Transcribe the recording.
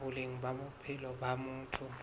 boleng ba bophelo ba batho